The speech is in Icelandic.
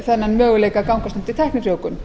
þennan möguleika að gangast undir tæknifrjóvgun